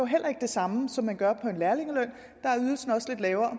heller ikke det samme som man gør på en lærlingeløn der er ydelsen også lidt lavere